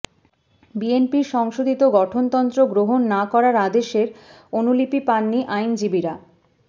বিএনপির সংশোধিত গঠনতন্ত্র গ্রহণ না করার আদেশের অনুলিপি পাননি আইনজীবীরা